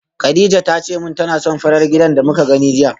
Kadija tace min tana son farar gidan da muka gani jiya